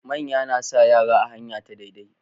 Manya nasa yara a hanya ta dai dai